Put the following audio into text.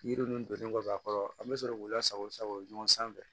Yiri ninnu donnen kɔfɛ a kɔrɔ an bɛ sɔrɔ k'u lasago sago ɲɔgɔn sanfɛ